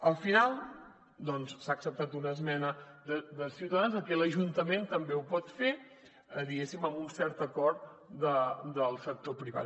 al final s’ha acceptat una esmena de ciutadans de que l’ajuntament també ho pot fer diguéssim amb un cert acord del sector privat